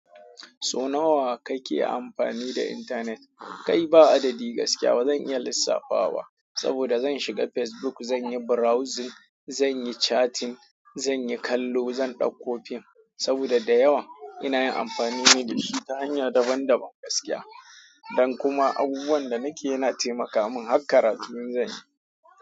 So nawa kake amfani da intanet? Kai ba adadi gaskiya ba zan iya lissafawa, saboda zan shiga Facebook, zan yi browsing, zan yi chatting, zan ɗakko film. Saboda da yawa, ina yin amfani ne da shi ta hanya daban-daban gaskiya don kuma abubuwan da nake yana taimaka mun har karatu in zan yi.